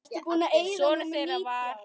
Sonur þeirra var